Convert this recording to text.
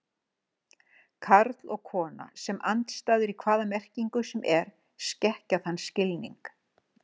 Karl og kona sem andstæður í hvaða merkingu sem er skekkja þann skilning.